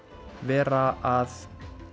vera að